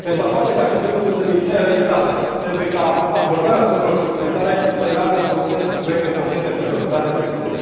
Pentru a face ca aceste lucruri să devină realitate, trebuie ca acordarea sumelor suplimentare să meargă în consens cu proiecte concrete pentru ajutarea tinerilor.